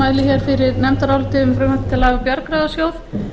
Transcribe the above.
frumvarp til laga um bjargráðasjóð